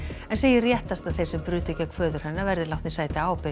en segir réttast að þeir sem brutu gegn föður hennar verði látnir sæta ábyrgð